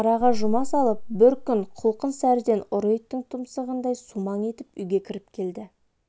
араға жұма салып бір күн құлқын сәріден ұры иттің тұмсығындай сумаң етіп үйге кіріп келді